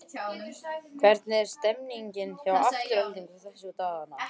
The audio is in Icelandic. Hvernig er stemmningin hjá Aftureldingu þessa dagana?